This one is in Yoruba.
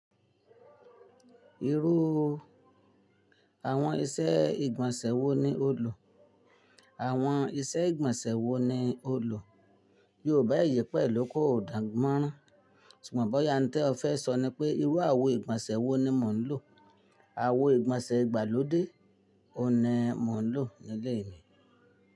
Irú àwọn ìṣe ìgbọ̀nsẹ̀ wo ni o lò? Àwọn ìṣe ìgbọ̀nsẹ̀ wo ni o lò? Yóòba eyi pẹ̀lú ko dànmọ́rán. Ṣùgbọ́n bóyá ǹtẹ́ ọ fẹ́ sọ ni pé irú àwo ìgbọ̀nsẹ̀ wo ni mò ń lò. Àwo ìgbọ̀nsẹ̀ ìgbàlódé òun ni mò ń lò nílé mi.